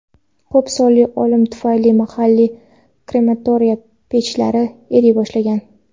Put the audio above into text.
Ko‘p sonli o‘lim tufayli mahalliy krematoriya pechlari eriy boshlagan.